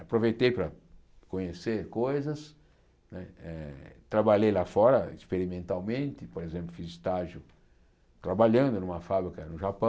Aproveitei para conhecer coisas né eh, trabalhei lá fora experimentalmente, por exemplo, fiz estágio trabalhando numa fábrica no Japão.